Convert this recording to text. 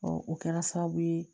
o kɛra sababu ye